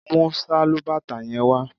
Mú sálúbàtà yẹn wá